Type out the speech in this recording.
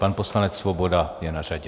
Pan poslanec Svoboda je na řadě.